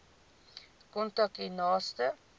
kontak u naaste